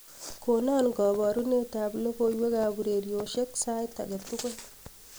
konon koborunet ab logoiwek ab ureryosyek sait agetugul